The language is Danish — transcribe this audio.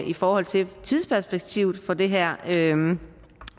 i forhold til tidsperspektivet for det her